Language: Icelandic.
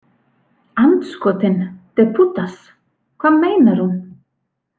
Andskotinn, de putas, hvað meinar hún?